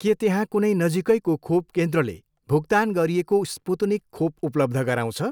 के त्यहाँ कुनै नजिकैको खोप केन्द्रले भुक्तान गरिएको स्पुत्निक खोप उपलब्ध गराउँछ?